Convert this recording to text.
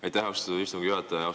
Aitäh, austatud istungi juhataja!